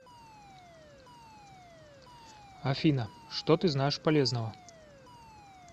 афина что ты знаешь полезного